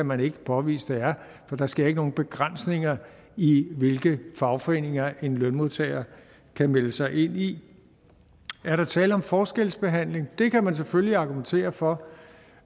man ikke kan påvise det er for der sker ikke nogen begrænsninger i hvilke fagforeninger en lønmodtager kan melde sig ind i er der tale om forskelsbehandling det kan man selvfølgelig argumentere for